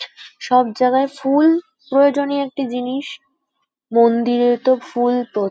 সব জায়গায় ফুল প্রয়োজনীয় একটি জিনিস মন্দিরে তো ফুল --